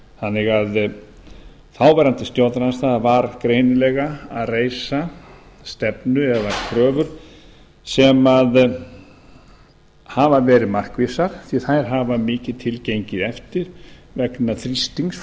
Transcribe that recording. þannig að þáv stjórnarandstaða var greinilega að reisa stefnu eða kröfur sem hafa verið markvissar því að þær hafa mikið til gengið eftir vegna þrýstings